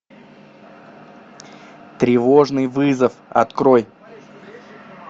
тревожный вызов открой